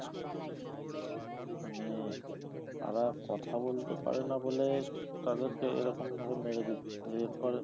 মানে তারা কথা বলতে পারে না বলে, তাদেরকে এরকম ভাবে মেরে দিচ্ছে এরপরে,